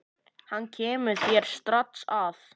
Hann kemur þér strax að.